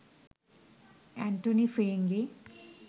Antony Firingee